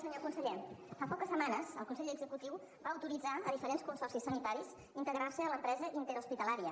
senyor conseller fa poques setmanes el consell executiu va autoritzar diferents consorcis sanitaris a integrar se en l’empresa interhospitalària